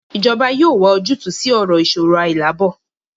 Ijọba yoo wa ojutu si iṣoro ailaabo